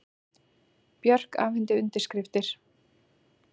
Björk afhenti undirskriftir